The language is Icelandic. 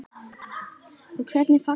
Og hvernig fagnaði hann?